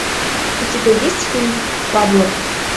у тебя есть фильм пабло